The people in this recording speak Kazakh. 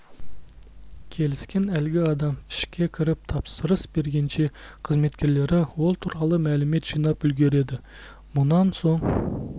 келіскен әлгі адам ішкі кіріп тапсырыс бергенше қызметкерлері ол туралы мәлімет жинап үлгереді мұнан соң